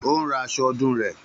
Ó ń ran aṣọ ọdún rẹ